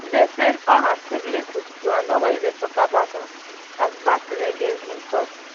she dey send all her siblings to school and nobody dey tok about am as bad tin again im tok